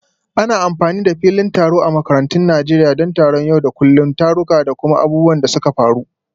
Ana amfani da filin taro a makarantun Najeriya don taron yau da kullun, taruka, da kuma abubuwan da suka faru.